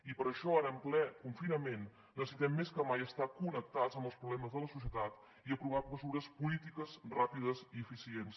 i per això ara en ple confinament necessitem més que mai estar connectats amb els problemes de la societat i aprovar mesures polítiques ràpides i eficients